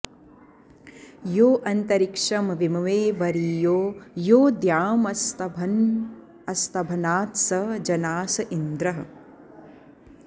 यो अ॒न्तरि॑क्षं विम॒मे वरी॑यो॒ यो द्यामस्त॑भ्ना॒त्स ज॑नास॒ इन्द्रः॑